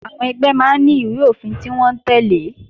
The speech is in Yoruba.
Àwọn ẹgbẹ́ máa ní ìwé-òfin tí wọ́n ń tẹ́lẹ̀